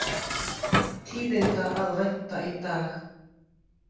Tíðinda að vænta í dag